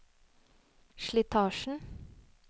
slitasjen